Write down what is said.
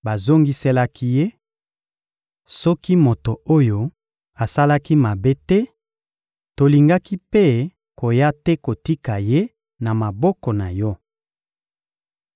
Bazongiselaki ye: — Soki moto oyo asalaki mabe te, tolingaki mpe koya te kotika ye na maboko na yo.